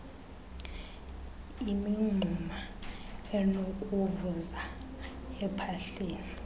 imingxuma enokuvuza ephahleni